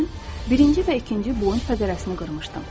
Mən birinci və ikinci boyun fəqərəsini qırmışdım.